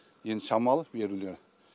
енді шамалы берулі